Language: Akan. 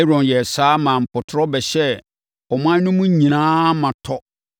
Aaron yɛɛ saa maa mpɔtorɔ bɛhyɛɛ ɔman no mu nyinaa ma tɔ.